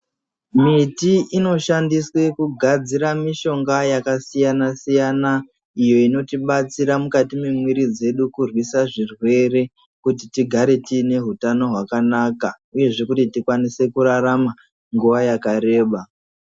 Miti inoshandiswe kugadzira mishonga yakasiyana siyana iyo inotibatsira mukati mwemwiri dzedu kurwisa zvirwere kuti tigare tine hutano hwakanaka uyezve kuti tikwanise kurarama nguwa yakareba